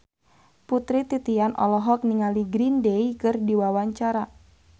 Putri Titian olohok ningali Green Day keur diwawancara